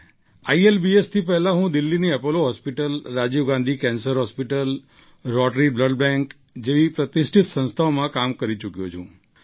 આઈએલબીએસથી પહેલાં હું દિલ્લીની Apollo hospital Rajiv Gandhi cancer hospital rotary blood bank જેવી પ્રતિષ્ઠિત સંસ્થાઓમાં કામ કરી ચૂક્યો છું